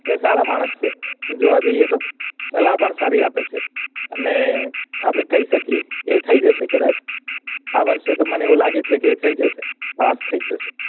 એ સારા માણસ છે જોવા જઈએ તો સલાહ પણ સારી આપે છે અને આપડે કઈ શકીએ કે થઇ જશે કદાચ આ વરસે તો અવું લાગે છે કે થઇ જશે પાસ થઇ જશે